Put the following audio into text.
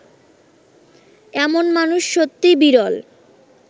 এমন মানুষ সত্যিই বিরল